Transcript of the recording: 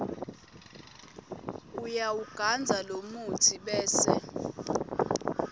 uyawugandza lomutsi bese